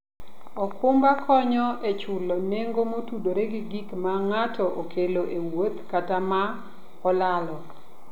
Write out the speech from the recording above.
okumba konyo e chulo nengo motudore gi gik ma ng'ato okelo e wuoth kata ma olalo.